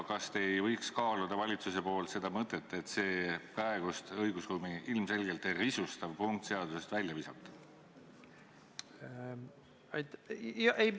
Kas te ei võiks valitsuses kaaluda ettepanekut see õigusruumi ilmselgelt risustav punkt seaduseelnõust välja visata?